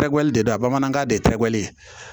Tɛgɛ de don bamanankan de ye tɛgɛ ye